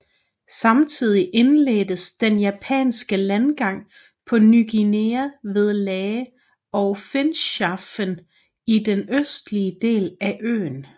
Samtidig indledtes den japanske landgang på Ny Guinea ved Lae og Finschhafen i den østlige del af øen